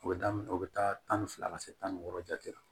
U bɛ daminɛ o bɛ taa tan ni fila ka se tan ni wɔɔrɔ jate la